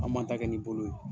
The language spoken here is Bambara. Anw b'an ta kɛ ni bolo ye.